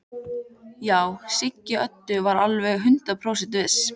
Já, Siggi Öddu var alveg hundrað prósent viss.